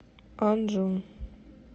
анджу